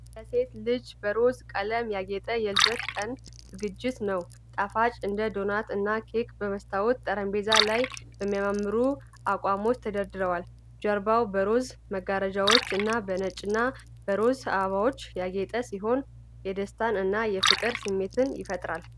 ለሴት ልጅ በሮዝ ቀለም ያጌጠ የልደት ቀን ዝግጅት ነው። ጣፋጮች እንደ ዶናት እና ኬኮች በመስታወት ጠረጴዛዎች ላይ በሚያማምሩ አቋሞች ተደርድረዋል። ጀርባው በሮዝ መጋረጃዎች እና በነጭና በሮዝ አበባዎች ያጌጠ ሲሆን፣ የደስታ እና የፍቅር ስሜትን ይፈጥራል።